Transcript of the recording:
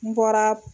N bɔra